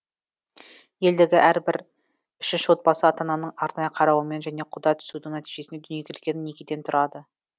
елдегі әрбір үшінші отбасы ата ананың арнайы қарауымен және құда түсудің нәтижесінде дүниеге келген некеден тұрады